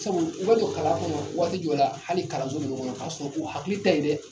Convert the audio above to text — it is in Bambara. Sabu u bɛ don kalan kɔnɔ waati jɔw la hali kalanso jɔw kɔnɔ k'a sɔrɔ u hakili tɛ yen dɛ !